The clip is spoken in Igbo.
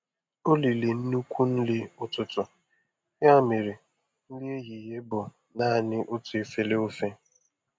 O riri nnukwu nri ụtụtụ, ya mere nri ehihie bụ naanị otu efere ofe.